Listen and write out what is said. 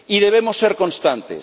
Y debemos ser constantes.